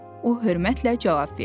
O hörmətlə cavab verdi.